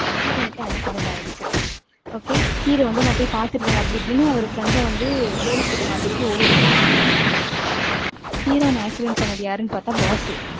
heroine க்கு accident ஆயிடுச்சு. okayhero வந்து நான் போய் பாத்துருவேன். அப்படி இப்படின்னு அவர் friend அ வந்து police கிட்ட மாட்டி விட்டுட்டு ஓடிடுவாரு. heroine அ accident பண்ணது யாருன்னு பார்த்தா boss உ